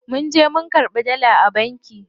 Munje mun karɓi dala a banki.